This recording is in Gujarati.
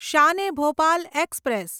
શાન એ ભોપાલ એક્સપ્રેસ